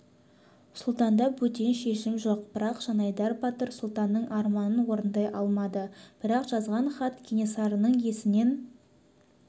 сұлтанда бөтен шешім жоқ бірақ жанайдар батыр сұлтанның арманын орындай алмады бірақ жазған хат кенесарының есінен